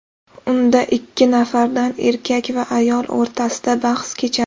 Unda ikki nafardan erkak va ayol o‘rtasida bahs kechadi.